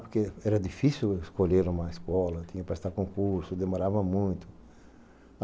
Porque era difícil escolher uma escola, tinha que prestar concurso, demorava muito.